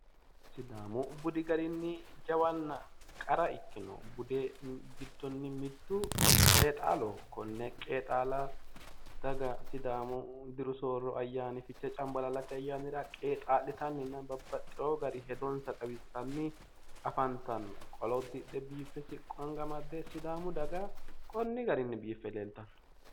Sidaamu budi garinni jawanna qara ikkino budi gidonni mittu qeexaalaho. Kone qeexaala daga sidaamu diru soorro ayaanni fichee cambalaallate ayyaanira geexaa'litanninna babbaxxewo garinni hedonsa xawissanni afantanno. Qolo uddidhe biiffe siqqo anga amadde sidaamu daga konni garinni biife leeltanno.